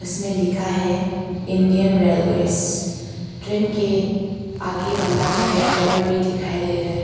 इसमें लिखा है इंडियन रेलवेज ट्रेन के आगे वाला में ड्राइवर भी दिखाई दे रहा है।